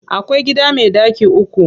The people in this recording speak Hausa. Akwai gida me ɗaki uku.